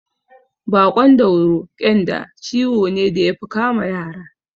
Baƙon dauro (ƙyanda) ciwo ne da yafi kama yara